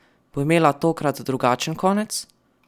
Bo imela tokrat drugačen konec?